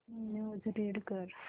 news read कर